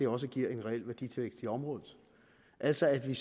også giver en reel værditilvækst i området altså at vi